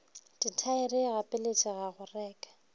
dithaere e gapeletšega go reka